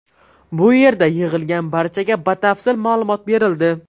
Bu yerda yig‘ilgan barchaga batafsil ma’lumot berildi.